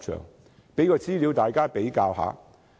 我提供一些資料供大家比較。